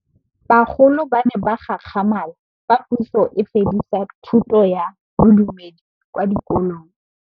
Bagolo ba ne ba gakgamala fa Pusô e fedisa thutô ya Bodumedi kwa dikolong.